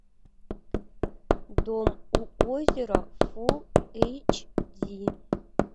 дом у озера фул эйч ди